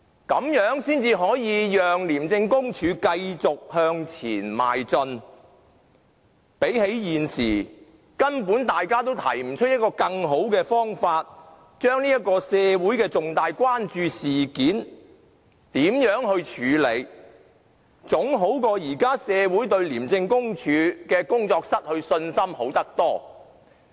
這樣才可以讓廉署繼續向前邁進，總比現時社會對廉署的工作失去信心，而大家又根本沒有更好的方法，來處理這項社會重大關注的事件好得多。